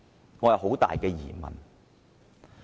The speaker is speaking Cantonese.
我心存很大的疑問。